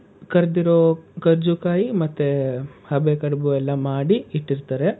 ಕರ್ದಿರೋ ಕರ್ಜು ಕಾಯಿ ಮತ್ತೆ ಹಬೆ ಕಡುಬು ಎಲ್ಲ ಮಾಡಿ ಇಟ್ಟಿರ್ತಾರೆ.